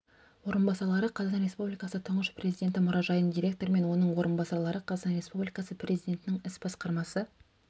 орынбасарлары қазақстан республикасы тұңғыш президенті мұражайының директоры мен оның орынбасарлары қазақстан республикасы президентінің іс басқармасы